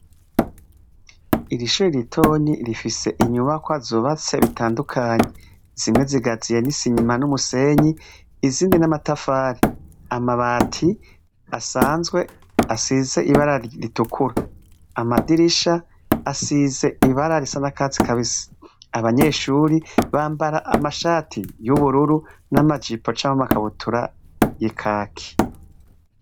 Irishuri ritoni rifise inyubakwa zubatse bitandukanyi zimwe zigaziye n'isinyima n'umusenyi izindi n'amatafari, amabati asanzwe asize ibarari ritukuru, amadirisha asize ibara risa na katzi kabisi, abanyeshuri bambara amashati y'ubururu n'amajipo camko makabutura ekaki.